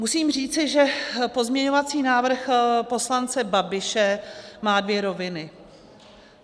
Musím říci, že pozměňovací návrh poslance Babiše má dvě roviny.